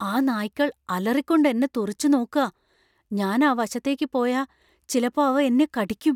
ആ നായ്ക്കൾ അലറിക്കൊണ്ട് എന്നെ തുറിച്ചു നോക്കാ. ഞാൻ ആ വശത്തേക്ക് പോയാ ചിലപ്പോ അവ എന്നെ കടിയ്ക്കും.